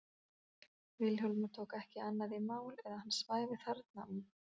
Vilhjálmur tók ekki annað í mál en að hann svæfi þar og